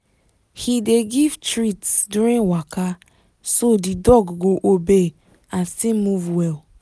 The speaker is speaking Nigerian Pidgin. he dey give treats during waka so the dog go obey and still move well